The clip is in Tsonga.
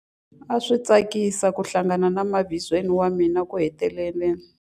A swi tsakisa ku hlangana na mavizweni wa mina ekuheteleleni.